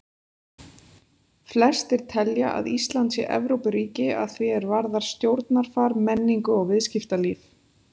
Flestir telja að Ísland sé Evrópuríki að því er varðar stjórnarfar, menningu og viðskiptalíf.